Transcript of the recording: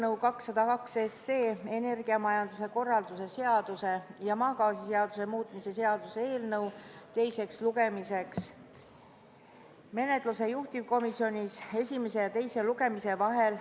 seaduseelnõu 202, energiamajanduse korralduse seaduse ja maagaasiseaduse muutmise seaduse eelnõu menetlust juhtivkomisjonis esimese ja teise lugemise vahel.